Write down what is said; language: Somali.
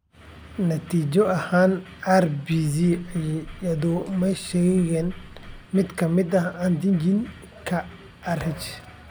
Natiijo ahaan, RBC-yadu ma sheegaan mid ka mid ah antigens-ka Rh.